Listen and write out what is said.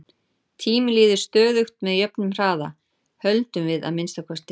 Tíminn líður stöðugt með jöfnum hraða, höldum við að minnsta kosti.